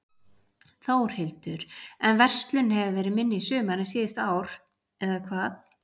Þórhildur: En verslun hefur verið minni í sumar en síðustu ár, eða hvað?